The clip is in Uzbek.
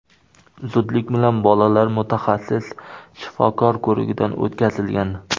Zudlik bilan bolalar mutaxassis shifokor ko‘rigidan o‘tkazilgan.